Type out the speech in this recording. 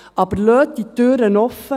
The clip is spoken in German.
Aber lassen Sie diese Türe offen.